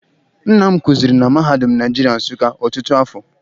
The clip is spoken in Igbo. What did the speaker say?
Nna kụziri na mahadum Naijirịa Nsụka ọtụtụ afọ.